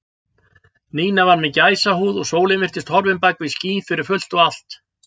Nína var með gæsahúð og sólin virtist horfin bak við ský fyrir fullt og allt.